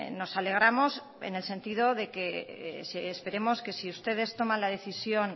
nos alegramos en el sentido de que esperemos que si ustedes toman la decisión